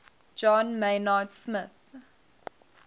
john maynard smith